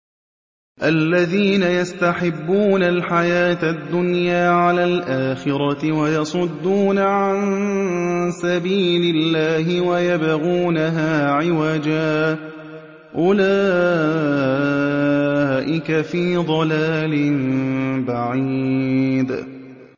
الَّذِينَ يَسْتَحِبُّونَ الْحَيَاةَ الدُّنْيَا عَلَى الْآخِرَةِ وَيَصُدُّونَ عَن سَبِيلِ اللَّهِ وَيَبْغُونَهَا عِوَجًا ۚ أُولَٰئِكَ فِي ضَلَالٍ بَعِيدٍ